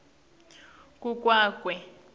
ku kwa kwe